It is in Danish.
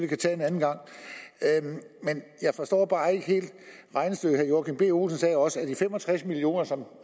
kan tage en anden gang jeg forstår bare ikke helt regnestykket herre joachim b olsen sagde også at de fem og tres million kr som